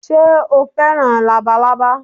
Sé o fẹ́ràn Labalábá